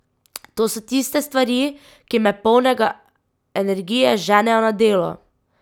To so tiste stvari, ki me polnega energije ženejo na delo!